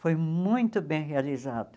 Foi muito bem realizado.